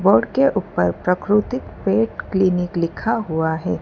Board के ऊपर Prakriti pet clinic लिखा हुआ है।